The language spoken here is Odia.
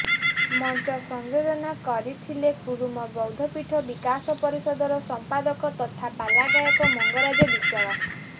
ମଂଚ ସଂଯୋଜନା କରିଥିଲେ କୁରୁମ ବୈଦ୍ଧପୀଠ ବିକାଶ ପରିଷଦର ସଂପାଦକ ତଥା ପାଲାଗାୟକ ମଂଗରାଜ ବିଶ୍ୱାଳ